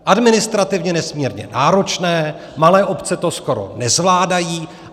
Administrativně nesmírně náročné, malé obce to skoro nezvládají.